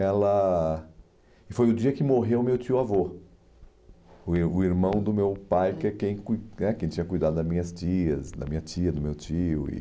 Ela e foi o dia que morreu meu tio-avô, o ir o irmão do meu pai, que é quem cui né quem tinha cuidado das minhas tias, da minha tia, do meu tio. E